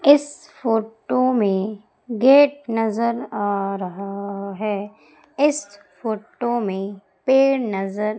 इस फोटो में गेट नजर आ रहा है इस फोटो में पेड़ नजर--